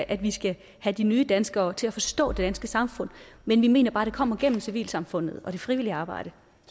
at vi skal have de nye danskere til at forstå det danske samfund men vi mener bare at det kommer gennem civilsamfundet og det frivillige arbejde